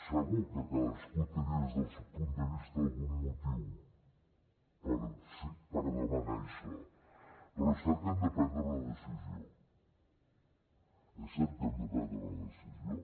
segur que cadascú tenia des del seu punt de vista algun motiu per demanar això però és cert que hem de prendre una decisió és cert que hem de prendre una decisió